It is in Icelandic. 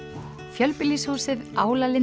fjölbýlishúsið